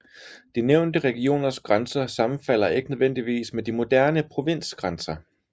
De nævnte regioners grænser sammenfalder ikke nødvendigvis med de moderne provinsgrænser